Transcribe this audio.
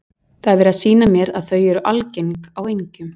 Það var verið að sýna mér að þau eru algeng á engjum.